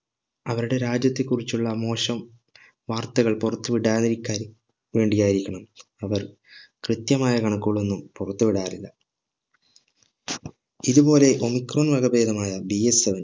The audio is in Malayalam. അവരുടെ രാജ്യത്തെ കുറിച്ചുള്ള മോശം വാർത്തകൾ പുറത്ത് വിടാതിരിക്കാൻ വേണ്ടി ആയിരിക്കണം അവർ കൃത്യമായ കണക്കുകളൊന്നും പുറത്ത് വിടാറില്ല ഇതു പോലെ omicron വകഭേദമായ DSM